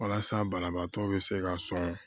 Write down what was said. Walasa banabaatɔ bɛ se ka sɔn